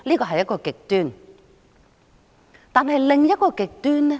可是，又有另一個極端。